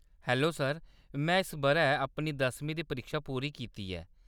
Hello sir, में इस बʼरै अपनी दसमीं दी परीक्षा पूरी कीती ऐ।